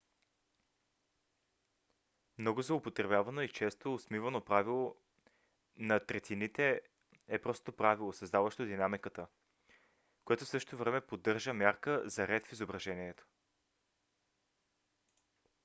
много злоупотребяваното и често осмивано правило на третините е просто правило създаващо динамиката като в същото време поддържа мярка за ред в изображението